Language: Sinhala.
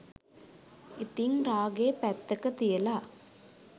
ඉතිං රාගේ පැත්තක තියලා